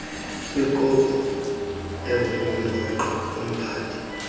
kwikopi engundoqo umphathi